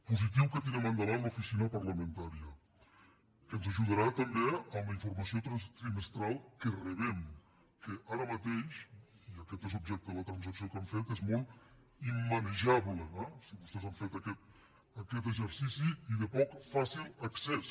positiu que tirem endavant l’oficina parlamentària que ens ajudarà també en la informació trimestral que rebem que ara mateix i aquesta és objecte de la transacció que hem fet és molt immanejable eh si vostès han fet aquest exercici i de poc fàcil accés